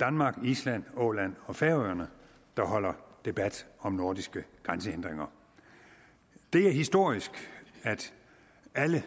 danmark island åland og færøerne der holder debat om nordiske grænsehindringer det er historisk at alle